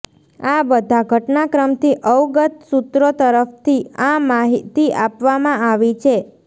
આ બધા ઘટનાક્રમથી અવગત સૂત્રો તરફથી આ માહિતી આપવામાં આવી છે